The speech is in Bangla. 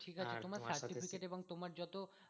তোমার certificate এবং তোমার যত